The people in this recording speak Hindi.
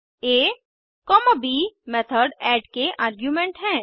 आ ब मेथड ऐड के आर्गुमेंट हैं